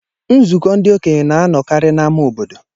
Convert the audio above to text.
Nzukọ ndị okenye na-anọkarị n'ámá obodo.